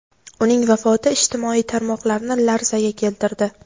uning vafoti ijtimoiy tarmoqlarni larzaga keltirdi.